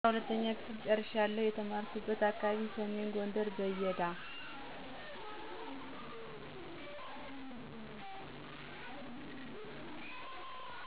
12ኛ ክፍል ጨርሻለሁ የተማርኩበት አካባቢ ሰሜን ጎንደር በየዳ